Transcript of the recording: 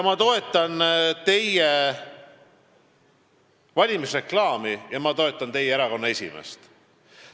Ma toetan teie valimisreklaami ja ma toetan teie erakonna esimeest.